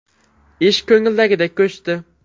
Ish ko‘ngildagidek ko‘chdi.